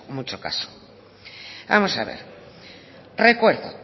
mucho caso vamos a ver recuerdo